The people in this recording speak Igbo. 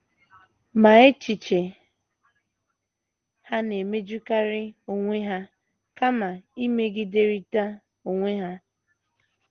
Ma, echiche ha na - emejukarị onwe ha kama imegiderịta onwe ha.